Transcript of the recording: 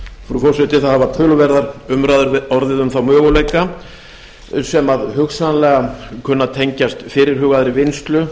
frú forseti það hafa töluverðar umræður orðið um þá möguleika sem hugsanlega kunna að tengjast fyrirhugaðri vinnslu